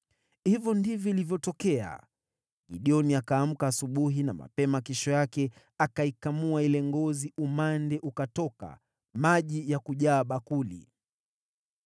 Hivyo ndivyo ilivyotokea. Gideoni akaamka asubuhi na mapema kesho yake, akaikamua ile ngozi, umande ukatoka, maji ya kujaa bakuli.